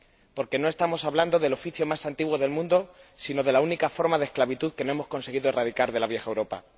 Porque no estamos hablando del oficio más antiguo del mundo, sino de la única forma de esclavitud que no hemos conseguido erradicar de la vieja Europa.